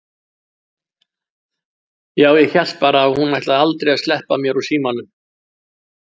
Já, ég hélt bara að hún ætlaði aldrei að sleppa mér úr símanum!